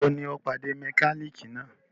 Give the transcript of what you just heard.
Ìgbà wo ni ọ̀ọ́ pàdé mẹkálíkì náà?